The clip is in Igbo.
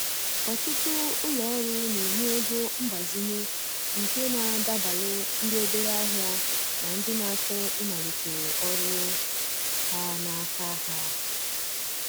Ọtụtụ ulo ọrụ na-enye ego mgbazinye nke na adabalu ndị obere ahịa na ndị na-achọ ịmalite ọrụ ha n’aka ha.